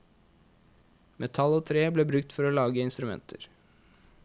Metall og tre ble brukt for å lage instrumenter.